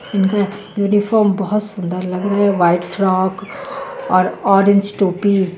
इनका यूनिफोम बोहोत सुन्दर लग रहे हे वाइट फ्रॉक और ऑरेंज टोपी.